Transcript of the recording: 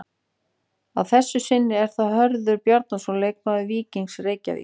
Að þessu sinni er það Hörður Bjarnason leikmaður Víkings Reykjavík.